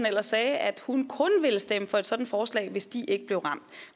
ellers at hun kun ville stemme for et sådant forslag hvis de ikke blev ramt